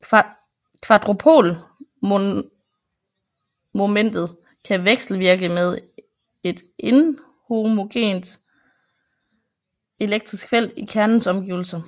Quadropolmomentet kan vekselvirke med et inhomogent elektrisk felt i kernens omgivelser